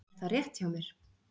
Er það rétt hjá mér?